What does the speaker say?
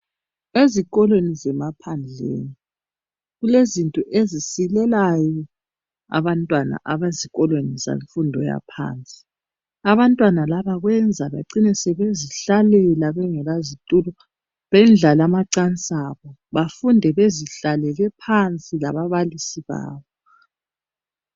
Ezikolweni zemaphandleni kulezinto ezisilelayo abantwana abezikolweni zemfundo yaphansi. Abantwana labo bacina sebezihlalela bengela zitulo bendlale amacansi abo .Bafunde bezihlalele phansi lababalisi babo.